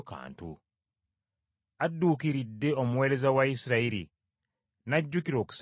Adduukiridde omuweereza we Isirayiri, n’ajjukira okusaasira,